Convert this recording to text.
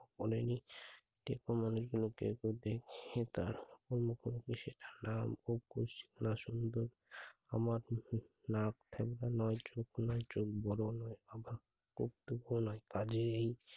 বলেনি টেকো মানুষগুলো কেউ কেউ দেখছে তা। আমার চোখ বড় নয় আভা